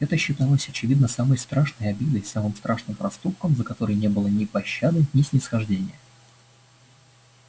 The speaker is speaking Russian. это считалось очевидно самой страшной обидой самым страшным проступком за который не было ни пощады ни снисхождения